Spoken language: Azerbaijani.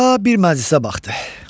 Paşa bir məclisə baxdı.